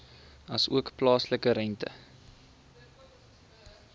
asook plaaslike rente